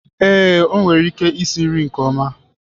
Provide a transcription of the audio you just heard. Ee, o nwere ike isi nri nke ọma.